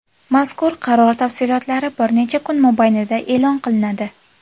Mazkur qaror tafsilotlari bir necha kun mobaynida e’lon qilinadi.